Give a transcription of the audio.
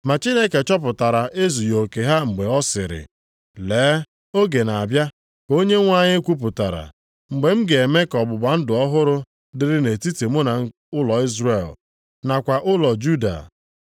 Ma Chineke chọpụtara ezughị oke ha mgbe ọ sịrị, “Lee, oge na-abịa, ka Onyenwe anyị kwupụtara, mgbe m ga-eme ka ọgbụgba ndụ ọhụrụ dịrị nʼetiti mụ na ụlọ Izrel, nakwa ụlọ Juda.